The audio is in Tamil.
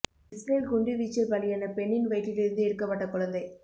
இஸ்ரேல் குண்டு வீச்சில் பலியான பெண்ணின் வயிற்றில் இருந்து எடுக்கப்பட்ட குழந்தை